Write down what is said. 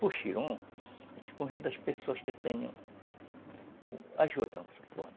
Puxirum, a gente convida as pessoas que tenham a juta, vamos supor.